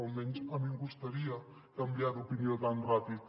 almenys a mi em costaria canviar d’opinió tan ràpid